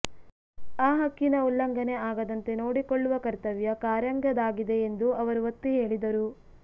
ಆ ಹಕ್ಕಿನ ಉಲ್ಲಂಘನೆ ಆಗದಂತೆ ನೋಡಿಕೊಳ್ಳುವ ಕರ್ತವ್ಯ ಕಾರ್ಯಾಂಗದ್ದಾಗಿದೆ ಎಂದು ಅವರು ಒತ್ತಿ ಹೇಳಿದರು